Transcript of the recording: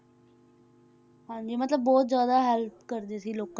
ਹਾਂਜੀ ਮਤਲਬ ਬਹੁਤ ਜ਼ਿਆਦਾ help ਕਰਦੇ ਸੀ ਲੋਕਾਂ,